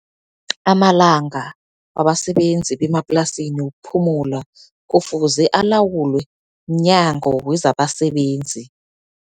Amalanga wabasebenzi bemaplasini wokuphumula kufuze alawulwe mNyango wezabaSebenzi.